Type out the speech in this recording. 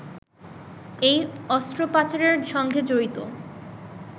এই অস্ত্র পাচারের সঙ্গে জড়িত